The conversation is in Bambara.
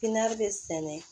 Pipiniyɛri bɛ sɛnɛ